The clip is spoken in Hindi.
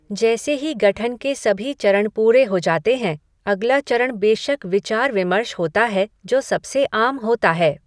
जैसे ही गठन के सभी चरण पूरे हो जाते हैं अगला चरण बेशक विचार विमर्श होता है जो सबसे आम होता है।